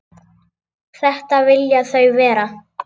Þetta vilja þau vera.